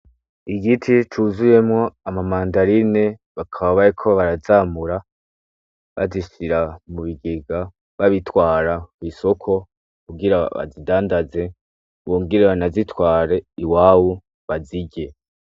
Igiti cuzuyemwo ama mandarine bakaba bariko barazamura bazishira mubigega babitwara mwisoko kugira bazidandaze bongere banazitware iwabo bazirye .